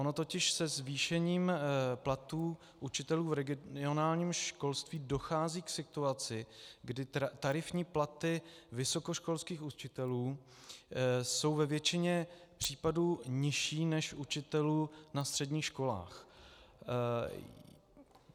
Ono totiž se zvýšením platů učitelů v regionálním školství dochází k situaci, kdy tarifní platy vysokoškolských učitelů jsou ve většině případů nižší než učitelů na středních školách.